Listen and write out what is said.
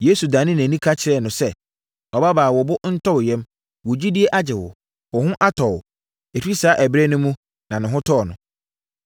Yesu danee nʼani ka kyerɛɛ no sɛ, “Ɔbabaa, ma wo bo ntɔ wo yam. Wo gyidie agye wo. Wo ho atɔ wo.” Ɛfiri saa ɛberɛ no mu, ne ho tɔɔ no.